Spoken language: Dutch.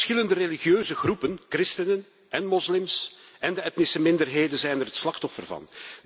De verschillende religieuze groepen christenen én moslims en de etnische minderheden zijn er het slachtoffer van.